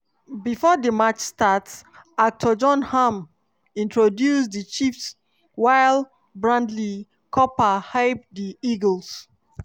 bifor di match start actor jon hamm introduce di chiefs while bradley cooper hype di eagles.